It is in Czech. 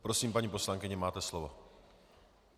Prosím, paní poslankyně, máte slovo.